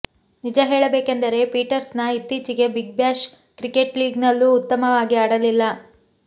ನಿಜ ಹೇಳಬೇಕೆಂದರೆ ಪೀಟರ್ಸನ್ ಇತ್ತೀಚೆಗೆ ಬಿಗ್ ಬ್ಯಾಶ್ ಕ್ರಿಕೆಟ್ ಲೀಗ್ ನಲ್ಲೂ ಉತ್ತಮವಾಗಿ ಆಡಿಲ್ಲ